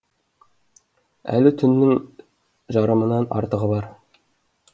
әлі түннің жарымынан артығы бар